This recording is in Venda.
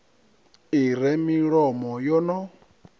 i re milomo yo no